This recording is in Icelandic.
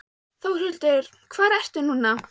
Þórhildur, hvar ertu núna?